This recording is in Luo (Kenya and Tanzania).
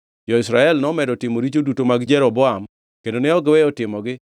Jo-Israel nomedo timo richo duto mag Jeroboam kendo ne ok giweyo timogi,